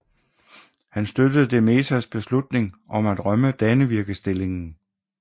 Han støttede de Mezas beslutning om at rømme Dannevirkestillingen